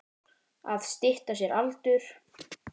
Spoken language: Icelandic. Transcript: Að stytta sér aldur.